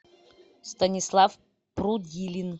станислав прудилин